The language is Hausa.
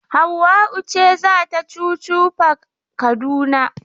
Hauwa'u ce za ta chuchu park Kaduna.